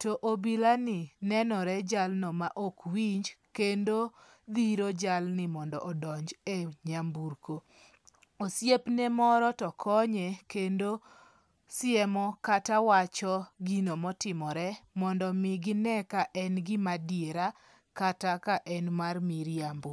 to obilani nenore jalno ma ok winj kendo dhiro jalni mondo donj e nyamburko osiepne moro to konye kendo siemo kata wacho gino motimore mondo mi gine ka en gimadiera kata ka en mar miriambo.